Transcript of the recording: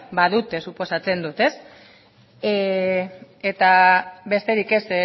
badute suposatzen dut eta besterik ez